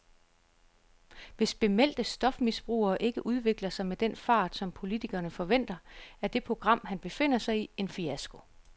Hvis bemeldte stofmisbrugere ikke udvikler sig med den fart, som politikerne forventer, er det program, han befinder sig i, en fiasko.